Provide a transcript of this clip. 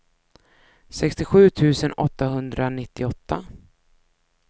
sextiosju tusen åttahundranittioåtta